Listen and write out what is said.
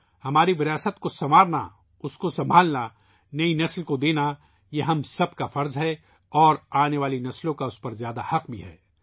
یہ ہم سب کا فرض ہے کہ ہم اپنے ورثے کا خیال رکھیں ، اسے سنبھالیں ، نئی نسل کو دیں اور آنے والی نسلوں کا بھی اس پر حق ہے